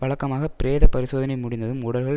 வழக்கமாக பிரேத பரிசோதனை முடிந்ததும் உடல்கள்